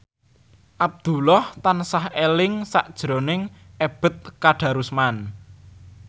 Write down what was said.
Abdullah tansah eling sakjroning Ebet Kadarusman